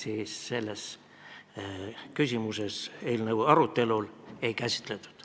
Eelnõu arutelul seda küsimust ei käsitletud.